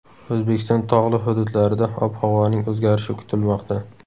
O‘zbekiston tog‘li hududlarida ob-havoning o‘zgarishi kutilmoqda.